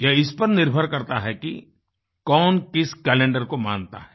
ये इस पर निर्भर करता है कि कौन किस कैलेंडरको मानता है